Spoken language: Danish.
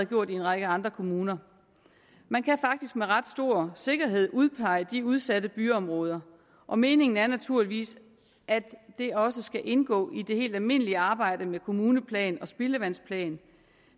gjort i en række andre kommuner man kan faktisk med ret stor sikkerhed udpege de udsatte byområder og meningen er naturligvis at det også skal indgå i det helt almindelige arbejde med kommuneplan og spildevandsplan